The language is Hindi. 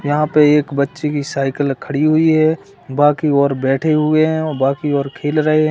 यहां पर एक बच्चे की साइकल खड़ी हुई है बाकी और बैठे हुए हैं और बाकी और खेल रहे हैं।